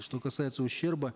что касается ущерба